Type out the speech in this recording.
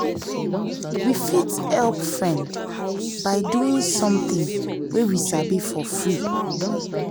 we fit help friend by doing something wey we sabi for free.